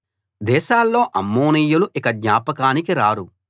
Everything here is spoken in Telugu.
దేశాల్లో అమ్మోనీయులు ఇక జ్ఞాపకానికి రారు